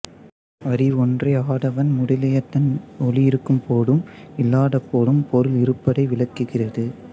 அறிவொன்றே ஆதவன் முதலியதன் ஒளி இருக்கும்போதும் இல்லாதபோதும் பொருள் இருப்பதை விளக்குகிறது